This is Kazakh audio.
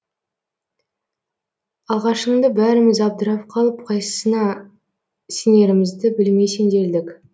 алғашынды бәріміз абдырап қалып қайсысына сенерімізді білмей сенделдік